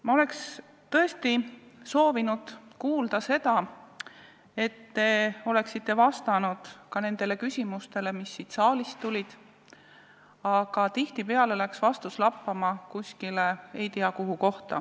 Ma oleks tõesti soovinud kuulda, et te oleksite vastanud ka nendele küsimustele, mis siit saalist tulid, aga tihtipeale läks vastus lappama kuskile ei tea kuhu.